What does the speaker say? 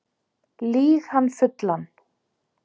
Lýg hann fullan